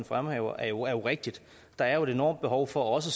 fremhæver er jo rigtigt der er et enormt behov for også